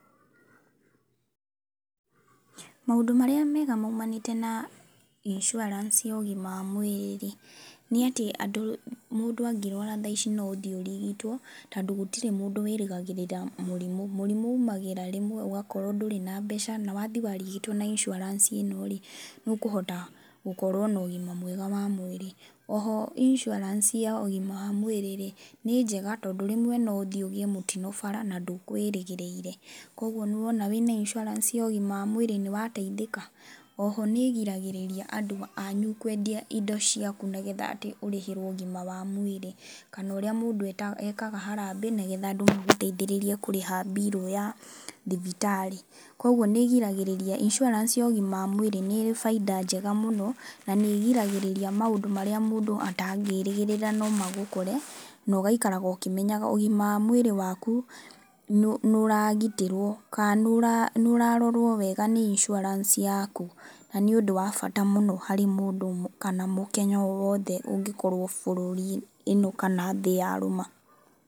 Maũndũ marĩa mega moumanĩte na insurance ya ũgima wa mwĩrĩ nĩ atĩ andũ mũndũ angĩrũara thaa ici no ũthiĩ ũrigitwo tondũ gũtirĩ mũndũ wĩrĩgagĩrĩra mũrimũ. Mũrimũ umagĩra rĩmwe ũgakorwo ndũrĩ na mbeca na wathiĩ warigitwo na insurance ĩno rĩ, nĩ ũkũhota gũkorwo na ũgima mwega wa mwĩrĩ. Oho insurance ya ũgima wa mwĩrĩ rĩ, nĩ njega tondũ rĩmwe no ũthiĩ ũgĩe mũtino bara na ndũkwĩrĩgĩrĩire. Koguo nĩ wona wĩna insurance ya ũgima wa mwĩrĩ nĩ wateithĩka? Oho nĩ ĩgiragĩrĩria andũ anyu kwendia indo ciaku nĩgetha atĩ ũrĩhĩrwo ũgima wa mwĩrĩ. Kana ũrĩa mũndũ ekaga harambee nĩgetha andũ mamũteithĩrĩrie kũrĩha bill ya thibitarĩ. Koguo nĩ ĩgiragĩrĩria. Insurance ya ũgima wa mwĩrĩ nĩ ĩrĩ baida njega mũno na nĩ ĩgiragĩrĩria maũndũ marĩa mũndũ atangĩrĩgĩrĩra no magũkore, na ũgaikaraga ũkĩmenyaga ũgima wa mwĩrĩ waku nĩ ũragitĩrwo kana nĩ ũrarorwo wega nĩ insurance yaku. Na nĩ ũndũ wa bata mũno harĩ mũndũ kana mũkenya o wothe ũngĩkorwo bũrũri ĩno kana thĩ ya rũma.